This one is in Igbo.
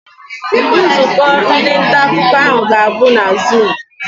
Nzukọ ndị nta akụkọ ahụ ga-abụ na zuum.